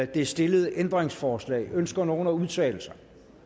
det stillede ændringsforslag ønsker nogen at udtale sig